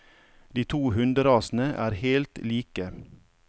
De to hunderasene er helt like.